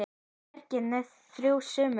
Verkið entist í þrjú sumur.